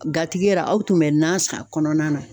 Gatigi yɛrɛ, aw tun bɛ nan san a kɔnɔna na.